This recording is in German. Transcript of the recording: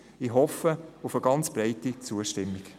Ich hoffe auf eine ganz breite Zustimmung.